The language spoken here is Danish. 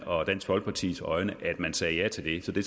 og dansk folkepartis øjne at man sagde ja til det så det